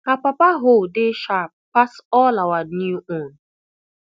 her papa hoe dey sharp pass all our new own